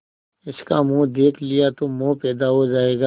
इसका मुंह देख लिया तो मोह पैदा हो जाएगा